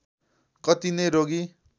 कति नै रोगी